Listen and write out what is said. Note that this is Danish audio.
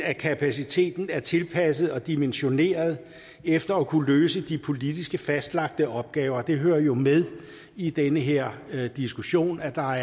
af kapaciteten er tilpasset og dimensioneret efter at kunne løse de politisk fastlagte opgaver det hører jo med i den her diskussion at der